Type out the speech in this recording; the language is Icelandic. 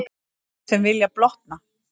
Þeir sem vilja blotna.